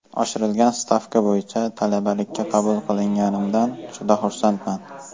Oshirilgan stavka bo‘yicha talabalikka qabul qilinganimdan juda xursandman.